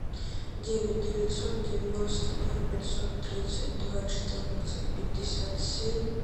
девять девятьсот девяносто ноль пятьсот тридцать два четырнадцать пятьдесят семь